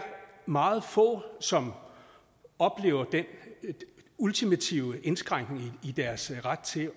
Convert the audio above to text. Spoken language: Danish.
meget få som oplever den ultimative indskrænkning af deres ret til